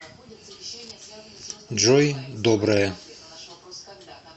джой доброе